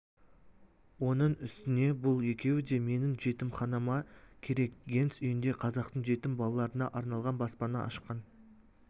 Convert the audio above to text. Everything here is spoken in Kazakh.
оның үстіне бұл екеуі де менің жетімханама керек генс үйінде қазақтың жетім балаларына арналған баспана ашқан